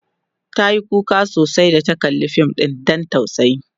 tayi kuka sosai da ta kalla Fim ɗin Dan tausayi